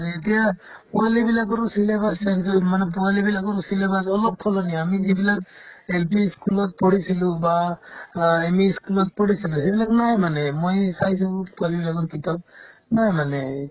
এতিয়া পোৱালিবিলাকৰো syllabus change হয় মানে পোৱালিবিলাকৰ syllabus অলপ সলনি হয় আমি যিবিলাক LP ই school ত পঢ়িছিলো বা অ ME ই school ত পঢ়িছিলো সেইবিলাক নাই মানে ময়ে চাইছো পোৱালিবিলাকৰ কিতাপ নাই মানে এই